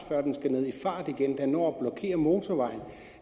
igen og den når at blokere motorvejen